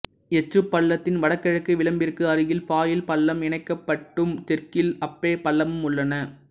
எச்சு பள்ளத்தின் வடகிழக்கு விளிம்பிற்கு அருகில் பாயில் பள்ளம் இணைக்கப் பட்டும் தெற்கில் அப்பே பள்ளமும் உள்ளன